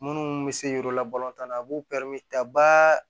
Minnu bɛ se yir'u la balɔntan na a b'u taba